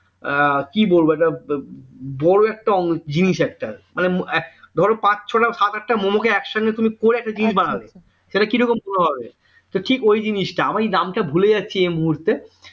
কি বলবো একটা বড় একটা জিনিস একটাকি মানে ধরো পাঁচ ছটা সাত আটটা মম কে তুমি একসঙ্গে তুমি করে একটা জিনিস বানাবে তাহলে কিরকম বড় হবে ঠিক ওই জিনিসটা আমি নামটা ভুলে যাচ্ছি এই মুহূর্তে